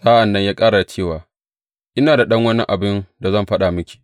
Sa’an nan ya ƙara da cewa, Ina da ɗan wani abin da zan faɗa miki.